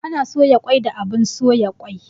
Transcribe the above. Ana soya kwai da abun soya kwai